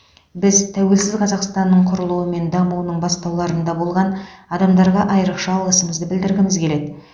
біз тәуелсіз қазақстанның құрылуы мен дамуының бастауларында болған адамдарға айрықша алғысымызды білдіргіміз келеді